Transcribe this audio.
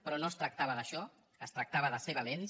però no es tractava d’això es tractava de ser valents